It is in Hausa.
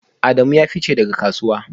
Adamu ya fice daga kasuwa